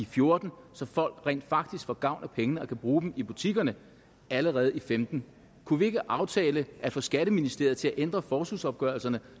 fjorten så folk rent faktisk får gavn af pengene og kan bruge dem i butikkerne allerede i femten kunne vi ikke aftale at få skatteministeriet til at ændre forskudsopgørelserne